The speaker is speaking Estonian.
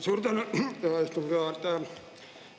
Suur tänu, hea istungi juhataja!